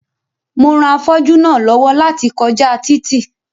Mo ran afọ́jú náà lọ́wọ́ láti kọjá títì